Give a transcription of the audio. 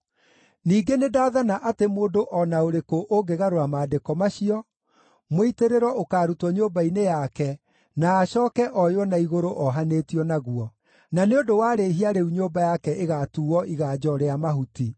Ningĩ nĩndathana atĩ mũndũ o na ũrĩkũ ũngĩgarũra maandĩko macio, mũitĩrĩro ũkaarutwo nyũmba-inĩ yake na acooke oywo na igũrũ ohanĩtio naguo. Na nĩ ũndũ wa rĩhia rĩu nyũmba yake ĩgaatuuo iganjo rĩa mahuti.